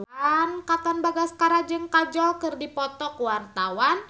Katon Bagaskara jeung Kajol keur dipoto ku wartawan